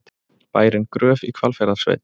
Bærinn Gröf í Hvalfjarðarsveit.